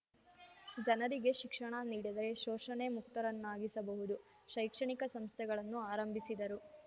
ಜನರಿಗೆ ಶಿಕ್ಷಣ ನೀಡಿದರೆ ಶೋಷಣೆ ಮುಕ್ತರನ್ನಾಗಿಸಬಹುದು ಶೈಕ್ಷಣಿಕ ಸಂಸ್ಥೆಗಳನ್ನು ಆರಂಭಿಸಿದರು